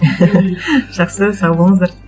жақсы сау болыңыздар